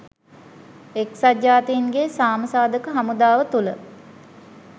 එක්සත් ජාතීන්ගේ සාම සාධක හමුදාව තුළ